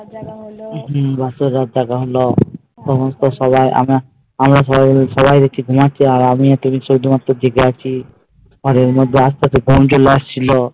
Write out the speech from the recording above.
হম বাসর রাত জাগা হলো সমস্ত সবাই দেখছি ঘুমাচ্ছে আর আমিও দেখছি আমিই শুধুমাত্র জেগে আছি আর ওর মধ্যে আস্তে আস্তে ঘুম চলে আসছিলো